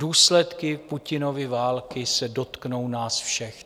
Důsledky Putinovy války se dotknou nás všech.